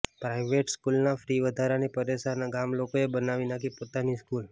private સ્કૂલ્સના fee વધારાથી પરેશાન આ ગામલોકોએ બનાવી નાખી પોતાની સ્કૂલ